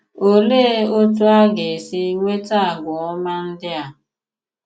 Òlee otú ọ ga-èsì nweta àgwà òma ndị à?